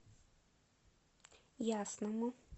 ясному